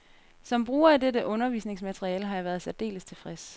Som bruger af dette undervisningsmateriale har jeg været særdeles tilfreds.